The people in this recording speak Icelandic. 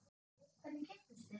Hvernig kynntust þeir?